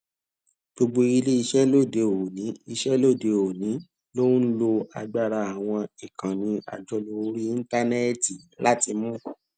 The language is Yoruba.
gbogbo ilé iṣẹ lóde òní iṣẹ lóde òní ló ń lo agbára àwọn ìkànnì àjọlò orí íńtánẹẹtì láti mú